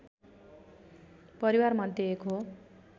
परिवारमध्ये एक हो